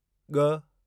ॻ